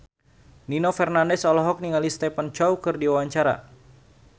Nino Fernandez olohok ningali Stephen Chow keur diwawancara